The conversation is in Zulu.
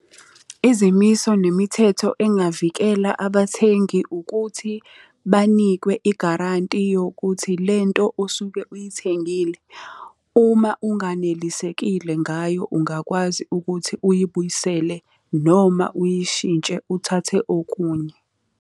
Izimiso nemithetho engavikela abathengi ukuthi, banikwe igaranti yokuthi lento osuke uyithengile, uma unganelisekile ngayo ungakwazi ukuthi uyibuyisele noma uyishintshe uthathe okunye.